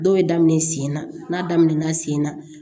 Dɔw bɛ daminɛ sen na n'a daminɛna sen na